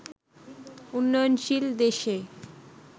উন্নয়নশীল দেশে